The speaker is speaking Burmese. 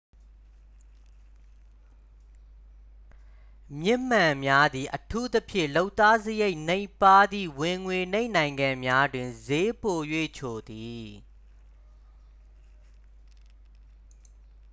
မျက်မှန်များသည် အထူးသဖြင့် လုပ်သားစရိတ်နိမ့်ပါးသည့် ဝင်ငွေနိမ့်နိုင်ငံများတွင် စျေးပို၍ချိုသည်